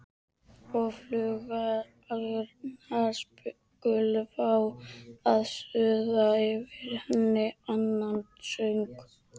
Og flugurnar skulu fá að suða yfir henni annan söng.